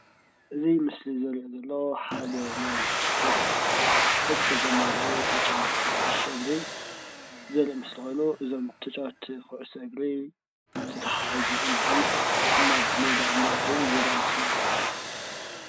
እዚ ምስሊ ዘርኦ ዘሎ ሓደ ናይ ስፖርት ዕጥቂ ዘማሉኡ ተጫወቲ ኩዕሶ እግሪ ዘርኢ ምስሊ ኮይኑ እዞም ተጫወቲ ኩዕሶ እግሪ ተታሕዞም ኢድ ብኢድ ናብ ሜዳ እንዳኣተዉ ዘርኢ ምስሊ እዩ።